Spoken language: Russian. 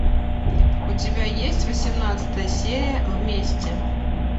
у тебя есть восемнадцатая серия вместе